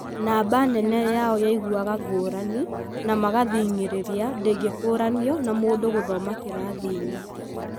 Namba nene yao yaiguaga ngũrani na magathing'ĩrĩria ndĩngĩkũranio na mũndũ gũthoma kĩrathi-inĩ.